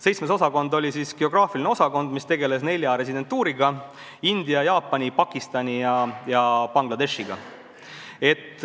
Seitsmes osakond oli nn geograafiline osakond, mis tegeles nelja residentuuriga: India, Jaapani, Pakistani ja Bangladeshiga.